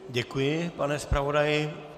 Děkuji, pane zpravodaji.